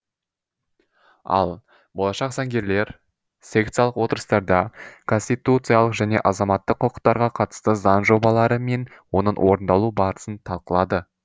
ал болашақ заңгерлер секциялық отырыстарда конституциялық және азаматтық құқықтарға қатысты заң жобалары мен оның орындалу барысын талқылады